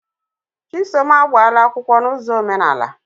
Chisom agbaala akwụkwọ na ụzọ omenaala.